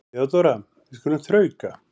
THEODÓRA: Við skulum þrauka.